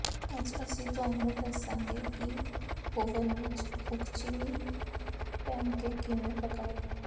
ਅੱਜ ਅਸੀਂ ਤੁਹਾਨੂੰ ਦੱਸਾਂਗੇ ਕਿ ਓਵਨ ਵਿੱਚ ਉਕਚਿਨੀ ਪੈਨਕੇਕ ਕਿਵੇਂ ਪਕਾਏ